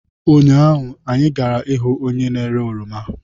Ụnyaahụ, anyị gara ihu onye na-ere oroma.